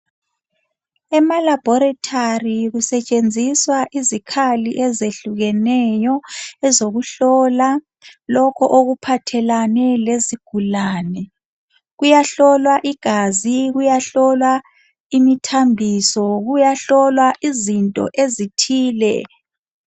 Ema laboratory kusetshenziswa izikhali ezehlukeneyo ezokuhlola lokho okuphathelane lezigulane kuyahlolwa igazi kuyahlolwa imithambiso kuyahlolwa izinto ezithile.